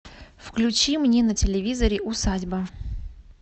включи мне на телевизоре усадьба